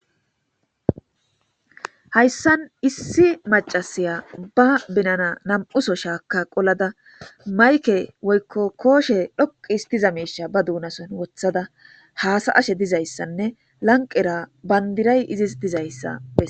hayssan issi macasiya ba benana nam7uso shaaka qolada mayke woykko kooshe dhoqi histiza meisha ba duunason wothada haasa ashe dizayssanne lanqera bandiray izis dizayssa